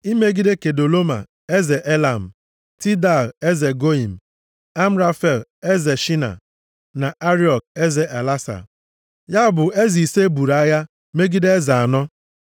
imegide Kedoloma eze Elam, Tidal eze Goiim, Amrafel eze Shaịna na Ariok eze Elasa. Ya bụ eze ise buru agha megide eze anọ.